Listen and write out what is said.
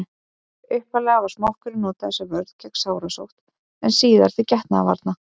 upphaflega var smokkurinn notaður sem vörn gegn sárasótt en síðar til getnaðarvarna